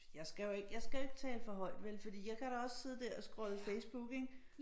Fordi jeg skal jo ikke jeg skal jo ikke tale for højt vel for jeg kan da også sidde dér og scrolle Facebook ik